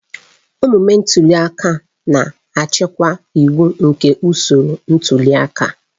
Omume ntuli aka na-achịkwa iwu nke usoro ntuli aka.